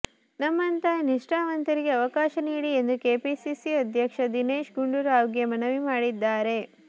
ನಮ್ಮಂತ ನಿಷ್ಟಾವಂತರಿಗೆ ಅವಕಾಶ ನೀಡಿ ಎಂದು ಕೆಪಿಸಿಸಿ ಅಧ್ಯಕ್ಷ ದಿನೇಶ್ ಗುಂಡೂರಾವ್ಗೆ ಮನವಿ ಮಾಡಿದ್ದಾರೆ